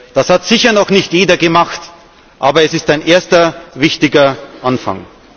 Das hat sicher noch nicht jeder gemacht, aber es ist ein erster wichtiger Anfang.